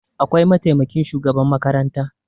Akwai mataimakin shugaban makaranta